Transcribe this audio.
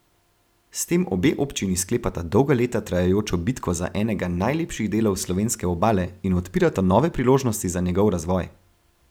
S tem obe občini sklepata dolga leta trajajočo bitko za enega najlepših delov slovenske Obale in odpirata nove priložnosti za njegov razvoj.